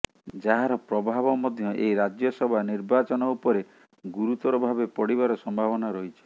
ଯାହାର ପ୍ରଭାବ ମଧ୍ୟ ଏହି ରାଜ୍ୟସଭା ନିର୍ବାଚନ ଉପରେ ଗୁରୁତର ଭାବେ ପଡ଼ିବାର ସମ୍ଭାବନା ରହିଛି